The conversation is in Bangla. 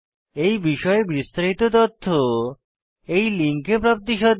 এই বিষয়ে বিস্তারিত তথ্য এই লিঙ্কে প্রাপ্তিসাধ্য